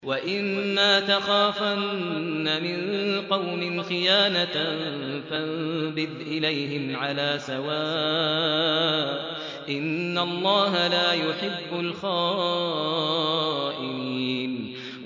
وَإِمَّا تَخَافَنَّ مِن قَوْمٍ خِيَانَةً فَانبِذْ إِلَيْهِمْ عَلَىٰ سَوَاءٍ ۚ إِنَّ اللَّهَ لَا يُحِبُّ الْخَائِنِينَ